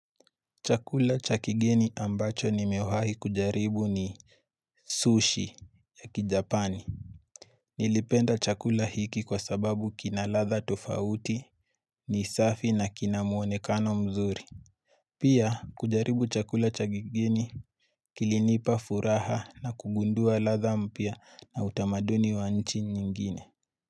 Chakula cha kigeni ambacho nimewahi kujaribu ni Sushi ya Kijapani. Nilipenda chakula hiki kwa sababu kina ladha tofauti, ni safi na kina muonekano mzuri. Pia kujaribu chakula chakigeni Kilinipa furaha na kugundua ladha mpya na utamaduni wa nchi nyingine.